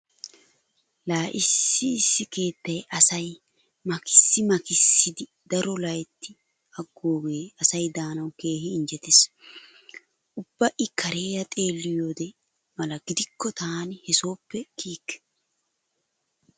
Laa issi issi keettay asay makkisii makkisidi daruwa loytti aggoogee asay daanawu keehi injjetees. Ubba i kareera xeelliyode mala gidikko taani he sooppe kiyikke.